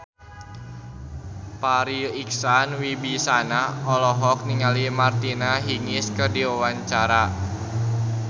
Farri Icksan Wibisana olohok ningali Martina Hingis keur diwawancara